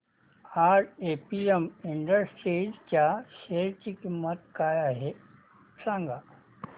आज APM Industries च्या share ची किंमत काय आहे सांगा